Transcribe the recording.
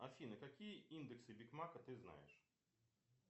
афина какие индексы биг мака ты знаешь